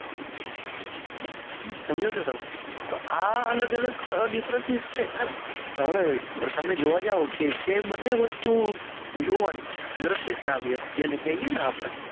હમ સમજો છો તમે તો આ અલગ અલગ છે તો હવે તમે જોવા જાવ છે બંને વસ્તુ જોવાની જ દ્રશ્ય જેને કહીએ ને આપણે